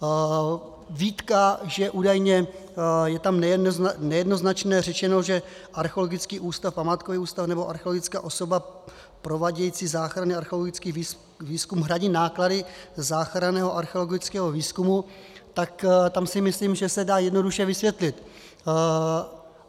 Výtka, že údajně je tam nejednoznačně řečeno, že Archeologický ústav, památkový ústav nebo archeologická osoba provádějící záchranný archeologický výzkum hradí náklady záchranného archeologického výzkumu, tak tam si myslím, že se dá jednoduše vysvětlit.